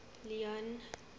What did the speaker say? leone